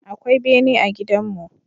Akwai bene a gidanmu.